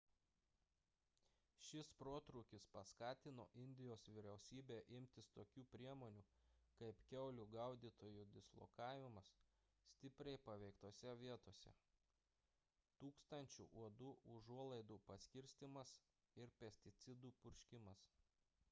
šis protrūkis paskatino indijos vyriausybę imtis tokių priemonių kaip kiaulių gaudytojų dislokavimas stipriai paveiktose vietose tūkstančių uodų užuolaidų paskirstymas ir pesticidų purškimas